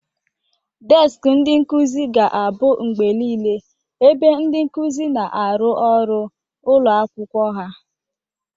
Deskị ndị nkuzi ga-abụ mgbe niile ebe ndị nkuzi na-arụ ọrụ ụlọ akwụkwọ ha.